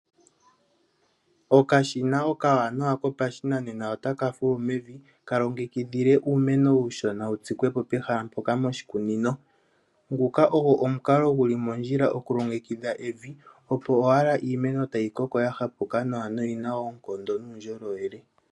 Okashina okawanawa kopashinanena otaka fulu mevi kalonge kidhile uumeno uushona wutsikwepo mehala mpoka moshikunino. Nguka ogo omukalo guli mondjila okulongekidha evi opo owala iimeno tayi koko yahapuka nawa noyina oonkondo nuundjolowele.